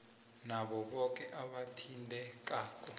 nabo boke abathintekako